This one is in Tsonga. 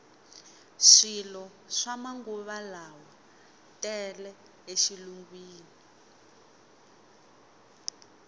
swilo swa manguvalawa tele e xilungwini